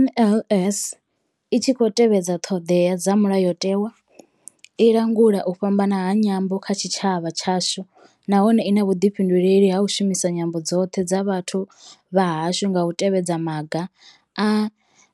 NLS i tshi khou tevhedza ṱhodea dza mulayotewa, i langula u fhambana ha nyambo kha tshitshavha tshashu nahone I na vhuḓifhinduleli ha u shumisa nyambo dzoṱhe dza vhathu vha hashu nga u tevhedza maga a